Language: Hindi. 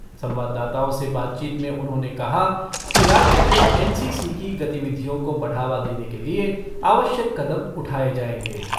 संवाददाताओं से बातचीत में उन्होंने कहा कि राज्य में एन सी सी की गतिविधियों को बढ़ावा देने के लिए आवश्यक कदम उठाए जाएंगे।